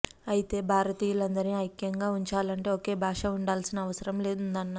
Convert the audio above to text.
అయితే భారతీయులందరినీ ఐక్యంగా ఉంచాలంటే ఒకే భాష ఉండాల్సిన అవసరం ఉందన్నారు